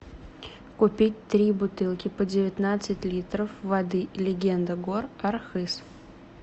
купить три бутылки по девятнадцать литров воды легенда гор архыз